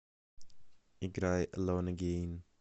играй элон эгейн